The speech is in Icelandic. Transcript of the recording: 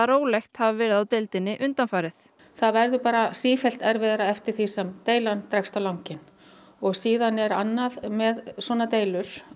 rólegt hafi verið á deildinni undanfarið það verður bara sífellt erfiðara eftir því sem deilan dregst á langinn síðan er annað með svona deilur